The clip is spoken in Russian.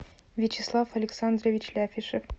вячеслав александрович ляфишев